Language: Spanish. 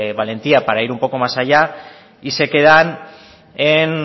valentía para ir un poco más allá y se quedan en